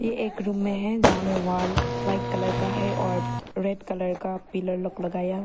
ये एक रूम में है जहां में वॉल व्हाइट कलर का है और रेड कलर का पिलर लुक लगाया हुआ।